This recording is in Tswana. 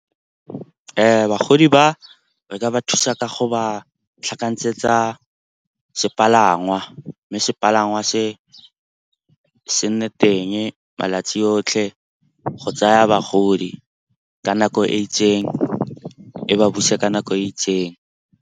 Bagodi ba re ka ba thusa ka go ba tlhakantshetsa sepalangwa. Mme sepalangwa se se nne teng malatsi otlhe go tsaya bagodi ka nako e itseng, e ba buse ka nako e itseng.